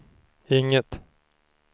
inget